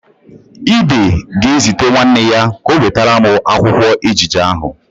Ide ga-ezite nwanne ya ka ọ wetara m akwụkwụ ejije ahụ.